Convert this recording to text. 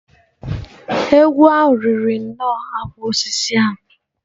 Egwu ahụ riri nnọọ akwụkwọ osisi ahụ.